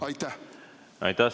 Aitäh!